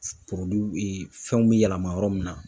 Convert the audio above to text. fɛnw bɛ yɛlɛma yɔrɔ min na.